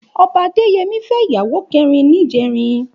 Òbá Adeyemi fè iyàwó kèrín nijèrín